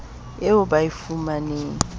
eo ba e fuwang ke